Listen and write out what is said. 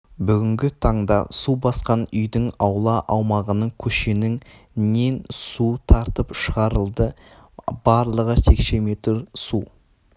бүгінгі таңда су басқан үйдің аула аумағының көшенің нен су тартып шығарылды барлығы текше метр су